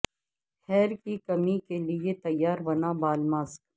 hair کی کمی کے لئے تیار بنا بال ماسک